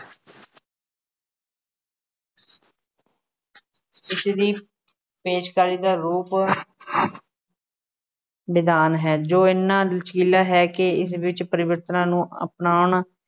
ਇਸਦੀ ਪੇਸ਼ਕਾਰੀ ਦਾ ਰੂਪ ਨਿਦਾਨ ਹੈ ਜੋ ਐਨਾ ਲਚਕੀਲਾ ਹੈ ਕਿ ਇਸ ਵਿੱਚ ਪਰਿਵਰਤਨਾਂ ਨੂੰ ਅਪਣਾਉਣ